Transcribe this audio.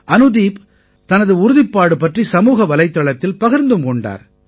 அனுதீப் தனது உறுதிப்பாடு பற்றி சமூக வலைத்தளத்தில் பகிர்ந்தும் கொண்டார்